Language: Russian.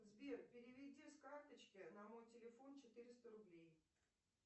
сбер переведи с карточки на мой телефон четыреста рублей